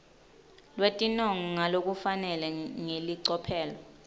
lwetinongo ngalokufanele ngelicophelo